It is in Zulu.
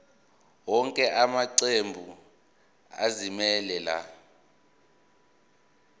wonke amaqembu azimisela